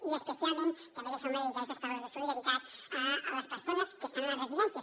i especialment també deixeu me dedicar aquestes paraules de solidaritat a les persones que estan a les residències